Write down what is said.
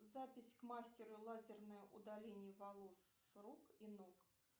запись к мастеру лазерное удаление волос с рук и ног